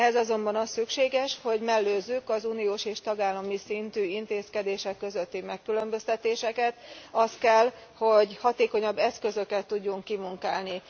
Ehhez azonban az szükséges, hogy mellőzük az uniós és tagállami szintű intézkedések közötti megkülönböztetéseket, az kell, hogy hatékonyabb eszközöket tudjunk kimunkálni.